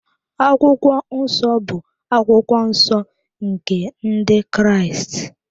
Akwụkwọ Nsọ bụ akwụkwọ nsọ nke Ndị Kraịst.